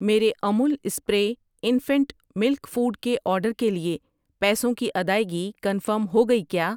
میرے Amul spray infant milk food کے order کے لیے پیسوں کی ادائگی کنفرم ہو گئی کیا؟